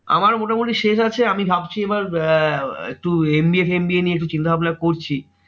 আমার মোটামুটি শেষ আছে, আমি ভাবছি এবার আহ একটু MBA FAMBA নিয়ে একটু চিন্তাভাবনা করছি।